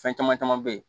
Fɛn caman caman be ye